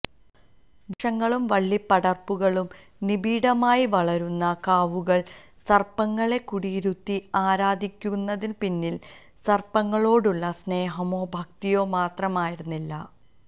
വൃക്ഷങ്ങളും വള്ളിപ്പടര്പ്പുകളും നിബിഢമായി വളരുന്ന കാവുകളില് സര്പ്പങ്ങളെ കുടിയിരുത്തി ആരാധിക്കുന്നതിനുപിന്നില് സര്പ്പങ്ങളോടുള്ള സ്നേഹമോ ഭക്തിയോ മാത്രമായിരുന്നില്ല